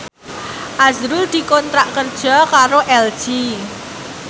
azrul dikontrak kerja karo LG